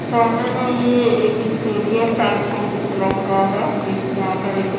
सामने में ये एक स्टेडियम टाइप का कुछ रहा है के एक यहाँ पर एक --